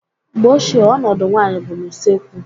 Mgbe ochie, ọnọdụ nwanyị bụ n'usekwu